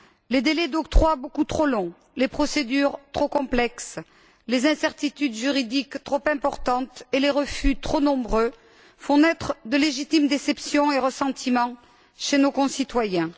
Les délais d'octroi, beaucoup trop longs, les procédures, trop complexes, les incertitudes juridiques, trop importantes, et les refus, trop nombreux, font naître de légitimes déceptions et ressentiments chez nos concitoyens.